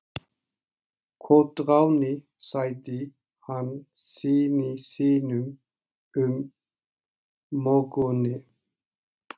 Koðráni, sagði hann syni sínum um morguninn.